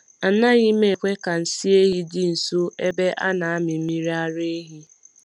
Anaghị m ekwe ka nsị ehi dị nso ebe a na-amị mmiri ara ehi.